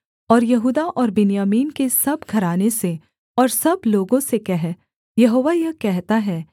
और यहूदा और बिन्यामीन के सब घराने से और सब लोगों से कह यहोवा यह कहता है